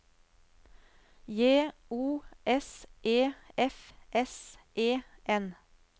J O S E F S E N